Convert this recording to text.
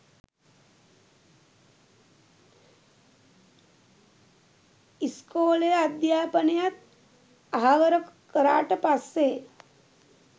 ඉස්කෝලේ අධ්‍යාපනයත් අහවර කරාට පස්සේ